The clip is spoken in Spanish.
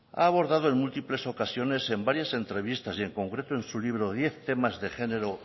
ha abordado en múltiples ocasiones en varias entrevistas y en concreto en su libro diez tema de género